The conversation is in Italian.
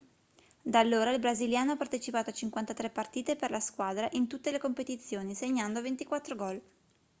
da allora il brasiliano ha partecipato a 53 partite per la squadra in tutte le competizioni segnando 24 gol